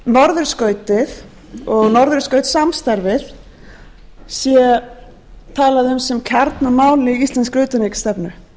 norðurskautið og norðurskautssamstarfið sé talað um sem kjarnamál í íslenskri utanríkisstefnu